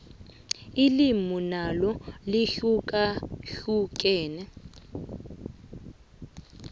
ilimi nalo lihlukahlukene